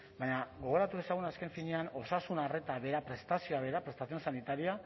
baina gogoratu dezagun azken finean osasun arreta bera prestazioa bera prestación sanitaria